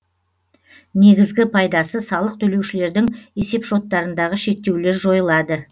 негізгі пайдасы салық төлеушілердің есепшоттарындағы шектеулер жойылады